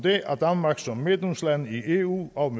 om at danmark som medlemsland af eu og